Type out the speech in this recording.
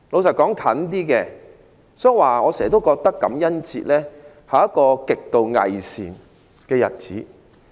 所以，我時常覺得感恩節是一個極度偽善的日子。